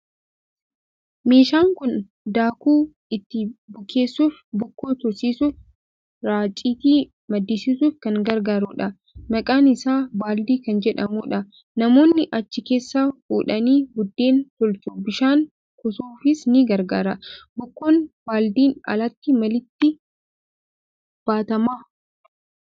Meeshaan kun daakuu itti bukeessuuf, bukoo tursiisuuf, raacitii maddisiisuuf kan gargaarudha. Maqaan isaa baaldii kan jedhamudha. Namoonni achi keessaa fuudhanii buddeen tolchu. Bishaan kuusuufis ni gargaara. Bukoon baaldiin alatti maalitti baatama?